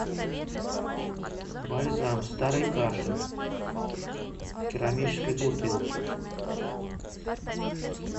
бальзам старый кашин в керамической бутылке